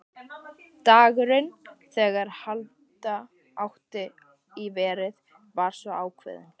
Dagurinn, þegar halda átti í verið, var svo ákveðinn.